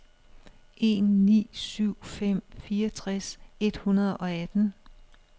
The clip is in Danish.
en ni syv fem fireogtres et hundrede og atten